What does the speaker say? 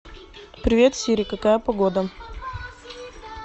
привет сири какая погода